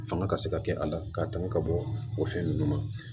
Fanga ka se ka kɛ a la k'a tanga ka bɔ o fɛn ninnu na